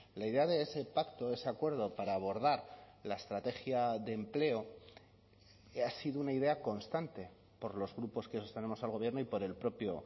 la idea de ese pacto ese acuerdo para abordar la estrategia de empleo ha sido una idea constante por los grupos que sostenemos al gobierno y por el propio